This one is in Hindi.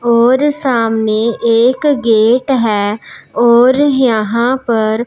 और सामने एक गेट हैं और यहां पर--